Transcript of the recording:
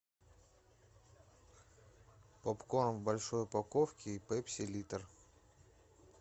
попкорн в большой упаковке и пепси литр